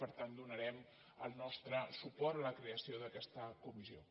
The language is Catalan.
per tant donarem el nostre suport a la creació d’aquesta comissió